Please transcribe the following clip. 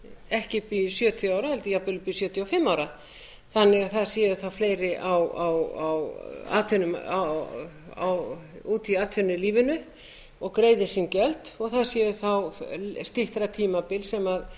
ekki upp í sjötíu ár heldur jafnvel upp í sjötíu og fimm ár þannig að það séu þá fleiri úti í atvinnulífinu og greiði sín gjöld og það sé þá styttra tímabil